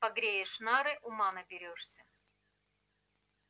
погреешь нары ума наберёшься